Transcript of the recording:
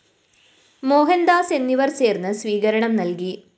മോഹന്‍ദാസ് എന്നിവര്‍ ചേര്‍ന്ന് സ്വീകരണം നല്‍കി